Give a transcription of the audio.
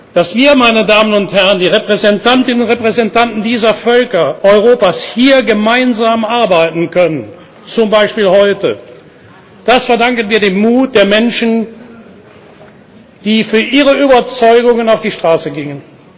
Dass wir, meine Damen und Herren, die Repräsentantinnen und Repräsentanten dieser Völker Europas, hier gemeinsam arbeiten können zum Beispiel heute das verdanken wir dem Mut der Menschen, die für ihre Überzeugungen auf die Straße gingen.